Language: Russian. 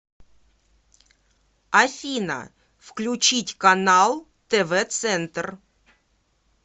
афина включить канал тв центр